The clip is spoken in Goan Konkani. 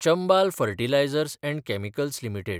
Chambal fertilisers and chemicals limited